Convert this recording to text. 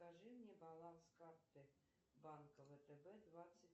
скажи мне баланс карты банка втб двадцать